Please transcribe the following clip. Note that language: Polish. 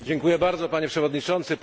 Dziękuję bardzo, Panie Przewodniczący!